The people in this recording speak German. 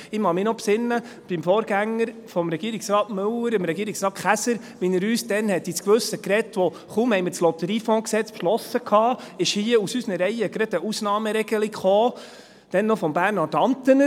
Ich kann mich noch erinnern, wie der Vorgänger von Regierungsrat Müller, Regierungsrat Käser, uns damals ins Gewissen redete, als aus unseren Reihen gleich eine Ausnahmeregelung kam, damals noch von Bernhard Antener, kaum hatten wir das Lotteriegesetz (LotG) beschlossen.